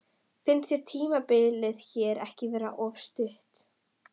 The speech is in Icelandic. Finnst þér tímabilið hér ekki vera of stutt?